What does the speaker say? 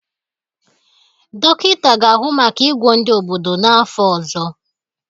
Dọkịta ga-ahụ maka ịgwọ ndị obodo n'afọ ọzọ